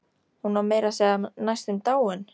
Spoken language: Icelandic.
Hún var meira að segja næstum dáin.